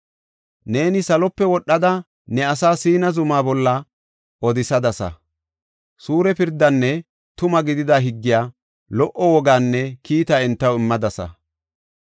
Neeni salope wodhada ne asaa Siina zuma bolla odisadasa. Suure pirdaanne tuma gidida higgiya, lo77o wogaanne kiita entaw immadasa.